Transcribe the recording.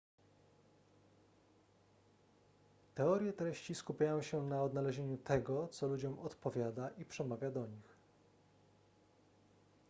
teorie treści skupiają się na odnalezieniu tego co ludziom odpowiada i przemawia do nich